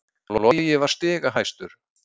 Logi var stigahæstur